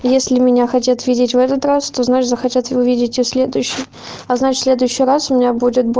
если меня хотят видеть в этот раз то значит захотят вы увидите в следующем а значит следующий раз у меня